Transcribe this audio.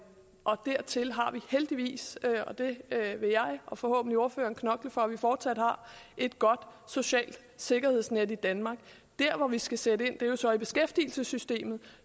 heldigvis og det vil jeg og forhåbentlig ordfører knokle for at vi fortsat har et godt socialt sikkerhedsnet i danmark der hvor vi skal sætte ind er i beskæftigelsessystemet